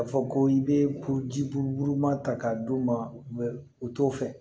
K'a fɔ ko i bɛ kuruji buruburu ma ta k'a d'u ma u t'o fɛ